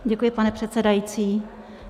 Děkuji, pane předsedající.